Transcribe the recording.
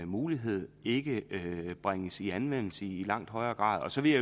mulighed ikke bringes i anvendelse i langt højere grad så vil